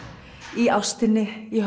í ástinni í